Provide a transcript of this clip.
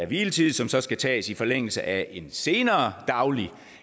hviletid som så skal tages i forlængelse af et senere dagligt